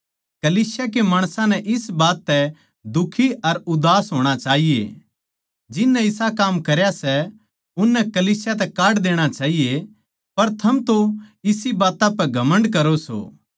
कलीसिया के माणसां नै इस बात तै दुखी अर उदास होणा चाहिए जिननै इसा काम करया सै उननै कलीसिया तै काढ देणा चाहिए पर थम तो इसी बात्तां पै घमण्ड करो सों